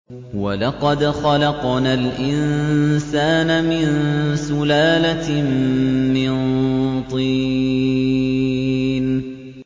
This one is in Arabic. وَلَقَدْ خَلَقْنَا الْإِنسَانَ مِن سُلَالَةٍ مِّن طِينٍ